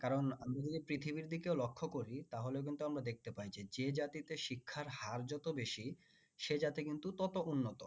কারণ আমরা যদি পৃথিবীর দিকেও লক্ষ্য করি তাহলে কিন্তু আমরা দেখতে পাই যে জাতিতে শিক্ষার হার যত বেশি সে জাতি কিন্তু তত উন্নত